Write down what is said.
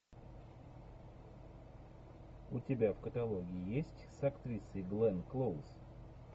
у тебя в каталоге есть с актрисой гленн клоуз